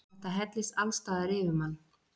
Þetta hellist allsstaðar yfir mann.